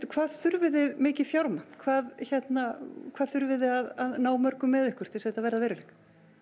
hvað þurfið þið mikið fjármagn hvað hvað þurfið þið að ná mörgum með ykkur til þetta verði að veruleika